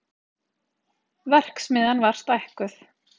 Verksmiðjan var stækkuð